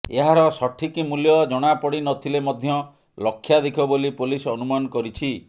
ଏହାର ସଠିକ ମୂଲ୍ୟ ଜଣା ପଡ଼ିନଥିଲେ ମଧ୍ୟ ଲକ୍ଷାଧିକ ବୋଲି ପୋଲିସ ଅନୁମାନ କରିଛି